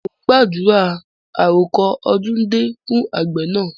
Mo ń gbàdúrà "àrọko ọdún dé" fún àgbẹ̀ náà.